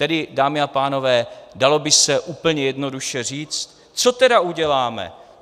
Tedy dámy a pánové, dalo by se úplně jednoduše říci: Co tedy uděláme?